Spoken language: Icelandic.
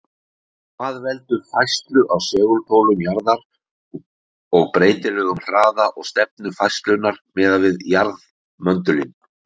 Hvað veldur færslu á segulpólum jarðar og breytilegum hraða og stefnu færslunnar miðað við jarðmöndulinn?